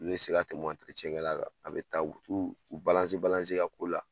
Ne kɛla la, a bi taa, u bi t'u e ki ko la